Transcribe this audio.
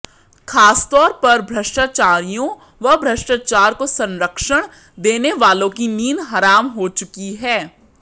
खासतौर पर भ्रष्टाचारियों व भ्रष्टाचार को संरक्षण देने वालों की नींद हराम हो चुकी है